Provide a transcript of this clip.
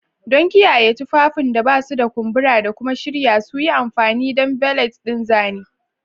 Don kiyaye tufafin da ba su da kumbura da kuma shirya su, yi amfani da valet ɗin zane.